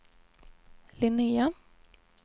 Linnea